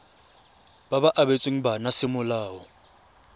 ba ba abetsweng bana semolao